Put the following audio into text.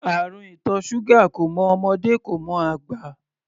Àrùn ìtọ̀ ṣúgà kò mọ ọmọdé, kò mọ àgbà.